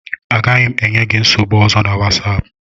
Agaghị m enye gị nsogbu ọzọ na Wosopu